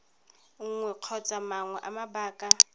nngwe kgotsa mangwe a mabaka